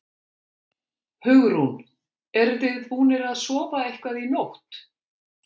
Hugrún: Eruð þið búnir að sofa eitthvað í nótt?